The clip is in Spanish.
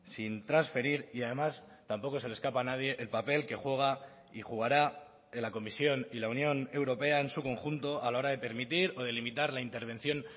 sin transferir y además tampoco se le escapa a nadie el papel que juega y jugará en la comisión y la unión europea en su conjunto a la hora de permitir o de limitar la intervención